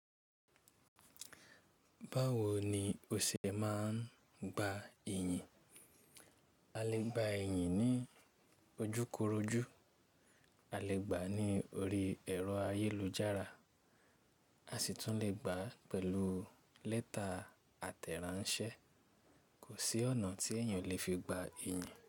Báwo ni o ṣe máa ń gba iyì? A lè gba iyìn ní ojúkorojú, a lè gba ní orí ẹ̀rọ ayélujára, a sì tún lè gba pẹ̀lú lẹ́tà àtẹ̀ránṣẹ́. Kò sí ọ̀nà tí èèyàn olè fi gba iyìn.